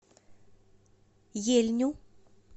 ельню